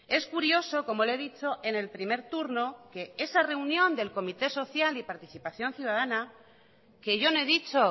es curioso como le he dicho en el primer turno que esa reunión del comité social y participación ciudadana que yo no he dicho